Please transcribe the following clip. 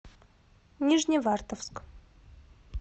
нижневартовск